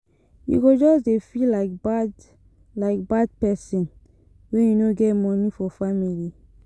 You go just dey feel like bad like bad pesin wen you no get moni for family.